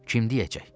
Kim deyəcək?